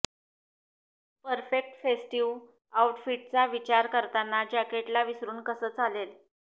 perfect festive आऊटफिट्सचा विचार करताना जॅकेटला विसरून कसं चालेल